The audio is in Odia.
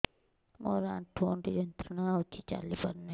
ମୋରୋ ଆଣ୍ଠୁଗଣ୍ଠି ଯନ୍ତ୍ରଣା ହଉଚି ଚାଲିପାରୁନାହିଁ